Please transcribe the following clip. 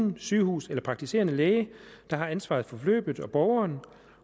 sygehus eller praktiserende læge der har ansvaret for forløbet og borgeren